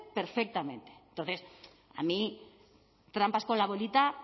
perfectamente entonces a mí trampas con la bolita